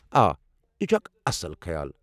آ، یہِ چھُ اکھ اصٕل خیال۔